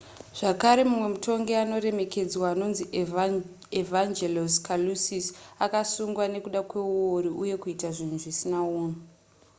zvakare mumwe mutongi anoremekedzwa anonzi evangelos kalousis akasungwa nekuda kweuori uye kuita zvinhu zvisina unhu